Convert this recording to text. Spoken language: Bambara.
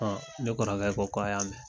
ne kɔrɔkɛ ko ko a y'a mɛ.